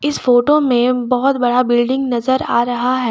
इस फोटो में बहोत बड़ा बिल्डिंग नजर आ रहा है।